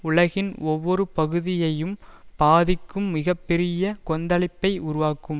உலகின் ஒவ்வொரு பகுதியையும் பாதிக்கும் மிக பெரிய கொந்தளிப்பை உருவாக்கும்